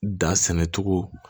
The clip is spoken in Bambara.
Da sɛnɛcogo